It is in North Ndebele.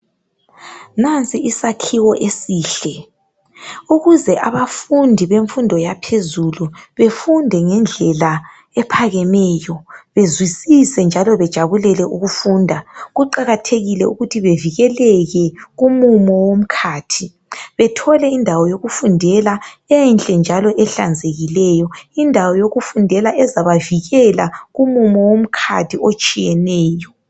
Nansi isakhiwo esihle ukuze abafundi bemfundo yaphezulu befunde ngendlela ephakemeyo bezwisise njalo bejabulele ukufunda kuqakathekile ukuthi bevikele kumumo womkhathi bethole indawo yokufundela enhle njalo ehlanzekileyo indawo yokufundela ezabavikela kumumo womkhathi otshiyeneyo.